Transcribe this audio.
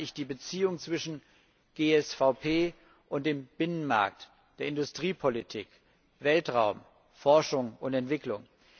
Damit meine ich die Beziehungen zwischen GSVP und dem Binnenmarkt, der Industriepolitik, Weltraum, Forschung und Entwicklung.